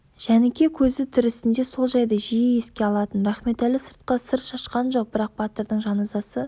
жәніке көзі тірісінде сол жайды жиі еске алатын рахметәлі сыртқа сыр шашқан жоқ бірақ батырдың жаназасы